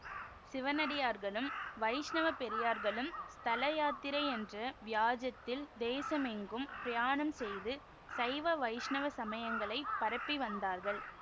சிவனடியார்களும் வைஷ்ணவப் பெரியார்களும் ஸ்தல யாத்திரை என்ற வியாஜத்தில் தேசமெங்கும் பிரயாணம் செய்து சைவ வைஷ்ணவ சமயங்களைப் பரப்பி வந்தார்கள்